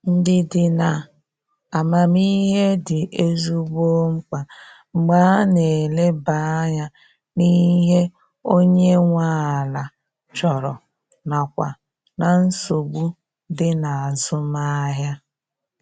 Ndidi na amamihe dị ezigbo mkpa mgbe a na eleba anya n'ihe onye nwe ala chọrọ nakwa na nsogbu dị n'azụmahia.